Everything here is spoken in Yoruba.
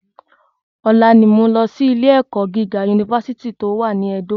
Ọ̀la ni mo ń lọ sí ilé ẹ̀kọ́ gíga Unifásítì tó wà ní Ẹdó